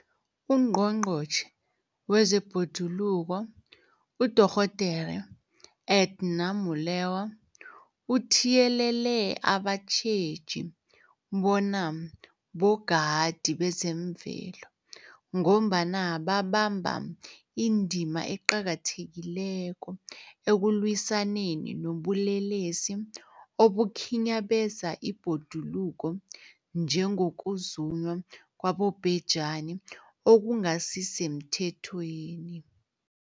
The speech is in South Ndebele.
UNgqongqotjhe wezeBhoduluko uDorh Edna Molewa uthiyelele abatjheji bona bogadi bezemvelo, ngombana babamba indima eqakathekileko ekulwisaneni nobulelesi obukhinyabeza ibhoduluko, njengokuzunywa kwabobhejani okungasisemthethweni.